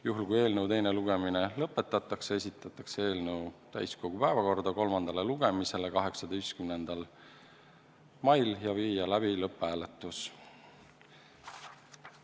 Juhul kui eelnõu teine lugemine lõpetatakse, esitatakse eelnõu täiskogu istungi päevakorda kolmandale lugemisele 18. maiks ja viiakse läbi lõpphääletus.